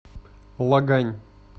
лагань